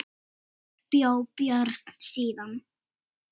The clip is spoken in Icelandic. Þar bjó Björn síðan.